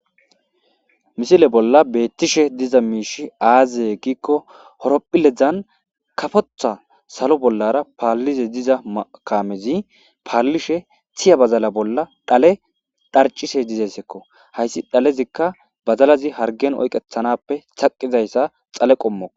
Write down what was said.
Misile bolla beettishe diza miishi aazee giikko horopphiledzan kafotha salo bollara paallize diza makamezi paallishe tiya bazala bolla dhale dharcishe dizeyssekko hayssi dhalezikka bazalazi hargen oyqethanappe thaqizayssa xale qommo